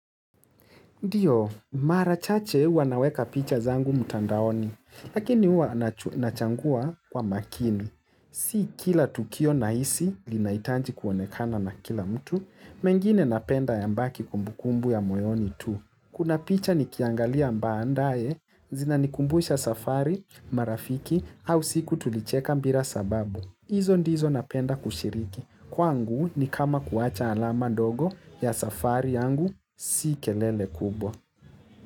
Ndio, marachache huwa naweka picha zangu mtandaoni, lakini huwa nachagua kwa makini. Si kila tukio nahisi linahitaji kuonekana na kila mtu, mengine napenda ya baki kumbukumbu ya moyoni tu. Kuna picha nikiangalia baadaye, zina nikumbuisha safari, marafiki, au siku tulicheka bila sababu. Izo ndizo napenda kushiriki. Kwangu ni kama kuwacha alama ndogo ya safari yangu si kelele kubwa.